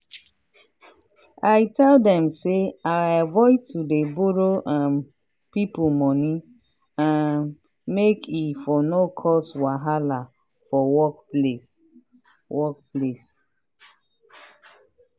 i tell dem say i avoid to dey borrow um people money um make e for no cause wahala for workplace. workplace.